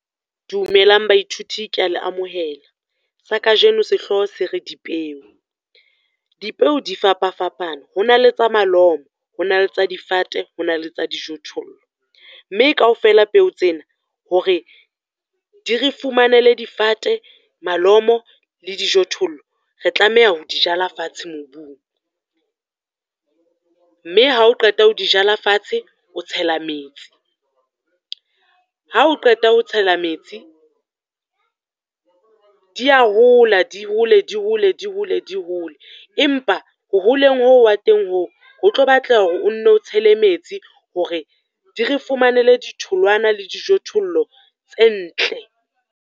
Dumelang baithuti ke ya le amohela, sa kajeno sehloho se re dipeo. Dipeo di fapafapane, ho na le tsa malomo, ho na le tsa difate, ho na le tsa dijothollo. Mme kaofela peo tsena hore di re fumanele difate, malomo le dijothollo, re tlameha ho jala fatshe mobung. Mme ha o qeta ho di jala fatshe, o tshela metsi, ha o qeta ho tshela metsi, di ya hola, di hole, di hole, di hole, di hole. Empa ho holeng hoo wa teng hoo, ho tlo batlaha hore o nno clo tshele metsi hore di re fumanele ditholwana le dijothollo tse ntle.